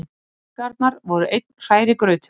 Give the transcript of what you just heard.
Tilfinningarnar voru einn hrærigrautur.